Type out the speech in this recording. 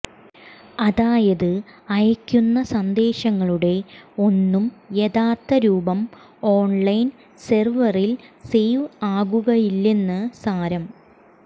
അതായത് അയയ്ക്കുന്ന സന്ദേശങ്ങളുടെ ഒന്നും യഥാർത്ഥ രൂപം ഓൺലൈൻ സെർവറിൽ സേവ് ആകുകയില്ലെന്നു സാരം